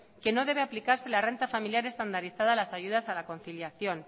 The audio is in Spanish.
que no debe aplicarse la renta familiar estandarizada a las ayudas a la conciliación